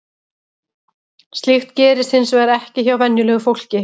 Slíkt gerist hins vegar ekki hjá venjulegu fólki.